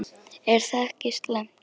Er það ekki slæmt?